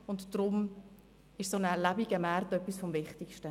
Ein lebendiger Markt ist deshalb etwas vom Wichtigsten.